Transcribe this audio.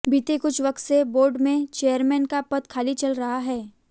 बीते कुछ वक्त से बोर्ड में चेयरमेन का पद खाली चल रहा है